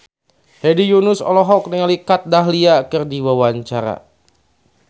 Hedi Yunus olohok ningali Kat Dahlia keur diwawancara